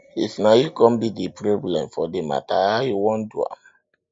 if na yu con be d problem for di mata how you wan do am